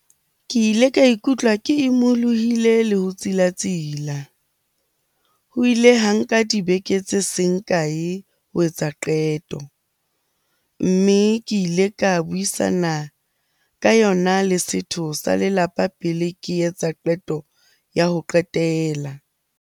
Ke ile ka ikutlwa ke imolohile le ho tsilatsila. Ho ile ha nka dibeke tse seng kae ho etsa qeto. Mme ke ile ka buisana ka yona le setho sa lelapa pele ke etsa qeto ya ho qetela.